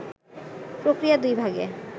প্রক্রিয়া দুই ভাগে